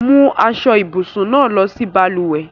Mú aṣọ-ìbùsùn náà lọ sí balùwẹ̀!